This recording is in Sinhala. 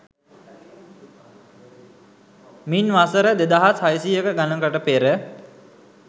මින් වසර දෙදහස් හයසියය ගණනකට පෙර